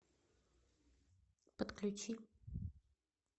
подключи